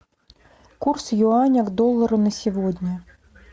курс юаня к доллару на сегодня